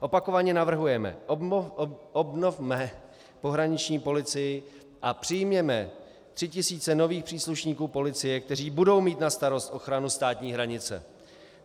Opakovaně navrhujeme: obnovme pohraniční policii a přijměme tři tisíce nových příslušníků policie, kteří budou mít na starost ochranu státní hranice.